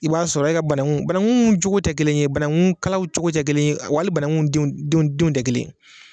I b'a sɔrɔ e ka banangu banaguw cogo te kelen ye banangu kalaw cogo te kelen w'ali bananguw denw denw te kelen ye